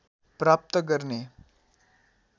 प्राप्त गर्ने